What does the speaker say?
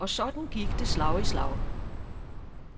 Og sådan gik det slag i slag.